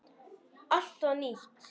Allt var nýtt.